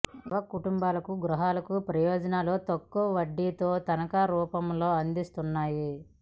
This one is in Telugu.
యువ కుటుంబాలకు గృహాలకు ప్రయోజనాలు తక్కువ వడ్డీతో తనఖాల రూపంలో అందిస్తున్నాయి